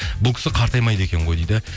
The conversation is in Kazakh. бұл кісі қартаймайды екен ғой дейді